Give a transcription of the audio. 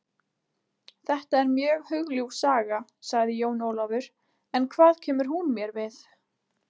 Þetta er mjög hugljúf saga, sagði Jón Ólafur, en hvað kemur hún mér við?